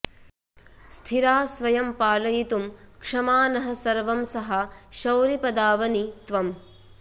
स्थिरा स्वयं पालयितुं क्षमा नः सर्वंसहा शौरिपदावनि त्वम्